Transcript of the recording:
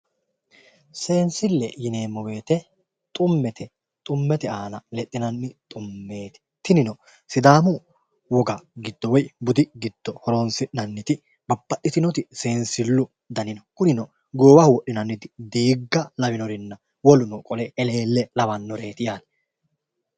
Sensile yineemmo woyte xumete, xumete aana lexine horonsi'neemmo xumeti, tinino sidaamu wogga giddo woyi budi giddo horonsi'nanniti babbaxitinoti sensilu danni no, kunino goowaho wodhinanniti diigga lawinorinna woluno qolle Elele lawanoreti yaate.